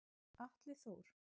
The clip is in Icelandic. Atli Þór.